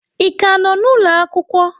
Ị ka nọ n'ugbo ụlọ akwụkwọ?